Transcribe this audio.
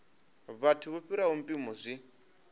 vhathu vho fhiraho mpimo zwi